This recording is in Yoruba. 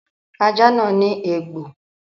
Ajá náà ní eégbọn.